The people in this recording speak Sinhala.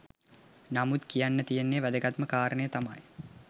නමුත් කියන්න තියෙන වැදගත්ම කාරණය තමා